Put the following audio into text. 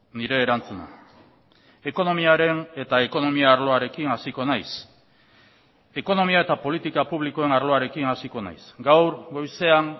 nire erantzuna ekonomiaren eta ekonomia arloarekin hasiko naiz ekonomia eta politika publikoen arloarekin hasiko naiz gaur goizean